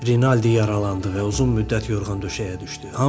Rinaldi yaralandı və uzun müddət yorğan döşəyə düşdü.